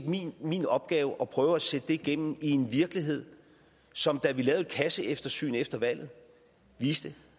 min opgave at prøve at sætte det igennem i en virkelighed som da vi lavede et kasseeftersyn efter valget viste